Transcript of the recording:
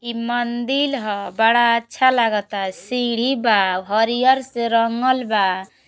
ई मंदिल ह। बड़ा अच्छा लागता। सीढ़ी बा। हरियर से रंगल बा।